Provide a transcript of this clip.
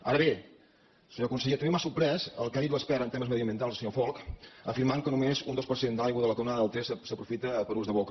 ara bé senyor conseller també m’ha sorprès el que ha dit l’expert en temes mediambientals el senyor folch en afirmar que només un dos per cert de l’aigua de la canonada del ter s’aprofita per a ús de boca